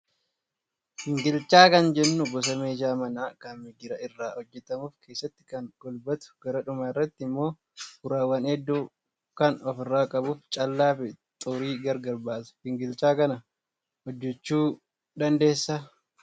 Gingilchaa kan jennuun gosa meeshaa manaa kan migira irraa hojjatamuu fi keessatti kan golbatu gara dhumaa irratti immoo uraawwan hedduu kan ofirraa qabuu fi callaa fi xurii gargar baasa. Gingilchaa kana hojjachuu dandeessaa?